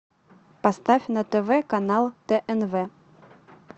поставь на тв канал тнв